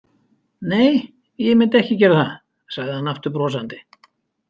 Nei, ég myndi ekki gera það, sagði hann aftur brosandi.